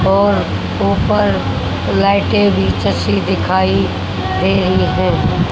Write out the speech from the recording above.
और ऊपर लायटे भी दिखाई दे रही है।